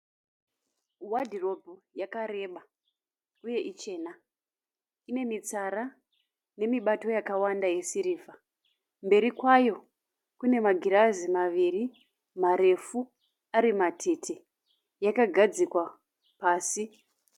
Wadhiropu yakareba uye ichena. Inemitsara nemibato yakawanda yesirivha. Mberi kwayo kune magirazi maviri marefu ari matete. Yakagadzikwa pasi.